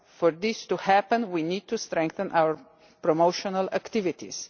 For this to happen, we need to strengthen our promotional activities.